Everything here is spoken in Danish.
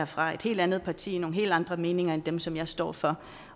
fra et helt andet parti nogle helt andre meninger end dem som jeg står for